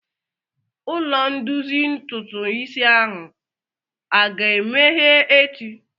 Ụlọ ndozi ntụtụ isi ahụ aga-emeghe echi?